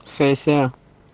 сессия